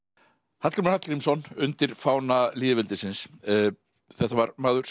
Hallgrímur Hallgrímsson undir fána lýðveldisins þetta var maður sem